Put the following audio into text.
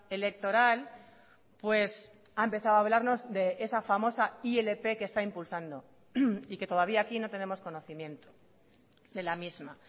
electoral pues ha empezado a hablarnos de esa famosa ilp que está impulsando y que todavía aquí no tenemos conocimiento de la misma